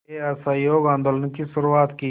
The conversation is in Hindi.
के असहयोग आंदोलन की शुरुआत की